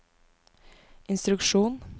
instruksjon